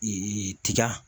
tiga